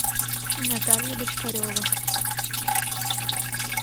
наталья бочкарева